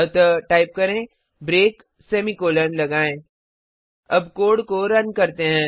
अतः टाइप करें breakसेमीकॉलन लगायें अब कोड को रन करते हैं